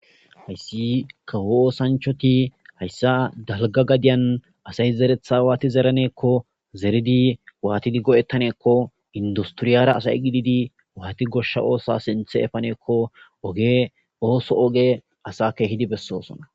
hayssi kawo oosanchoti hayssa dalgga gadiyan asay zeretha waati zeraneekko zeridi waatidi go7ettaneekko industiriyara asay gididi waati goshsha oosa sinthe efaneekko oge ooso oge asa keehidi bessosona.